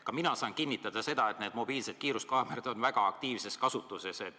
Ka mina saan kinnitada, et mobiilsed kiiruskaamerad on väga aktiivses kasutuses.